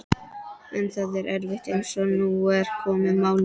En það er erfitt, eins og nú er komið málum.